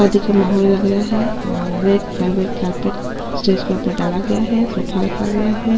आदि के मोहोल लग रहा है और वेट बाद- बाद के आकर स्टेज के ऊपर डाला गया है सोफा रखा गया हैं।